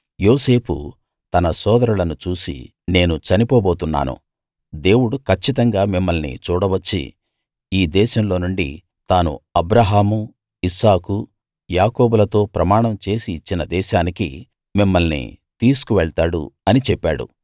యోసేపు తన సోదరులను చూసి నేను చనిపోబోతున్నాను దేవుడు కచ్చితంగా మిమ్మల్ని చూడవచ్చి ఈ దేశంలోనుండి తాను అబ్రాహాము ఇస్సాకు యాకోబులతో ప్రమాణం చేసి ఇచ్చిన దేశానికి మిమ్మల్ని తీసుకువెళ్తాడు అని చెప్పాడు